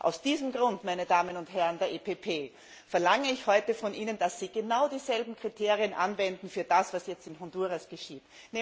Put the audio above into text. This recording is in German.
Aus diesem Grund, meine Damen und Herren der EPP, verlange ich heute von Ihnen, dass Sie genau dieselben Kriterien anwenden für das, was jetzt in Honduras geschieht.